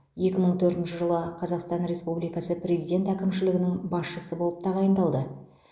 екі мың төртінші жылы қазақстан республикасы президент әкімшілігінің басшысы болып тағайындалды